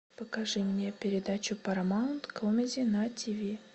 покажи мне передачу парамаунт комеди на ти ви